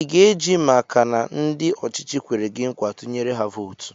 I ga-eji maka na ndị ọchịchị kwere gị nkwa, tụnyere ha vootu?